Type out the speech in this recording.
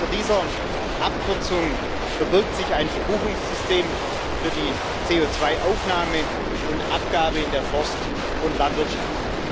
Hinter dieser Abkürzung verbirgt sich ein Verbuchungssystem für die CO2 Aufnahme und Abgabe in der Forst und Landwirtschaft.